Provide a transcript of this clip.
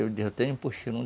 Eu tenho um puxirum.